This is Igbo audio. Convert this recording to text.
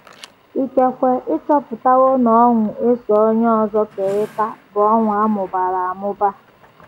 Ikekwe ị chọpụtawo na ọṅụ e so onye ọzọ kerịta bụ ọṅụ a mụbara amụba.